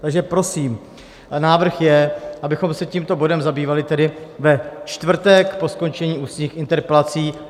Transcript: Takže prosím, návrh je, abychom se tímto bodem zabývali tedy ve čtvrtek po skončení ústních interpelací.